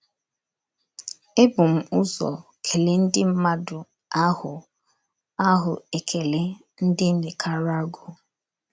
Ebum ụzọ kelee ndị mmadụ ahụ ahụ ekele ndị Nicaragua.